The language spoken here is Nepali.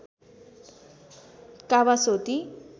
कावासोती